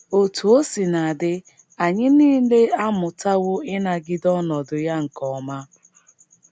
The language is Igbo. Otú o sina dị, anyị nile amụtawo ịnagide ọnọdụ ya nke ọma.